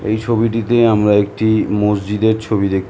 এই ছবিটিতে আমরা একটা মসজিদের ছবি দেখত--